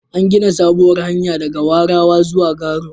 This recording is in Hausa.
An gina sabuwar hanya daga Warawa zuwa Garo.